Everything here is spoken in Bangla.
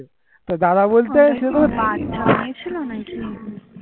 জাওআ হয়ে ছিল নাকি